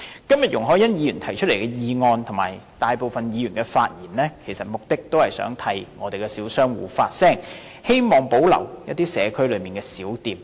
今天容海恩議員提出的議案，以及大部分議員的發言，目的也是想替小商戶發聲，希望保留社區內的小店。